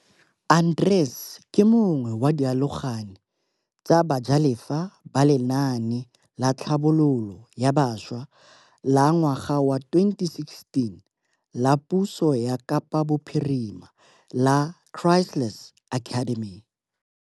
Arendse ke yo mongwe wa dialogane tsa bajalefa ba lenaane la tlhabololo ya bašwa la ngwaga wa 2016 la puso ya Kapa Bophirima la Chrysalis Academy.